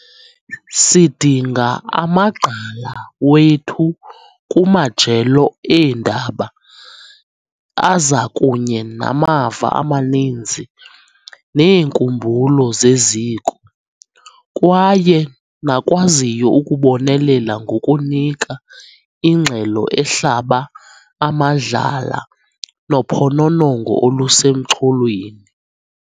Sidinga amagqala wethu kumajelo eendaba, aza kunye namava amaninzi neenkumbulo zeziko, kwaye nakwaziyo ukubonelela ngokunika ingxelo ehlaba amadlala nophononongo olusemxholweni.